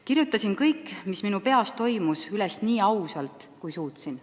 Kirjutasin kõik, mis minu peas toimus, üles nii ausalt, kui suutsin.